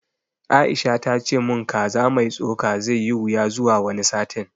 Aisha ta ce mun kaza mai tsoka zai yi wuya zuwa wani satin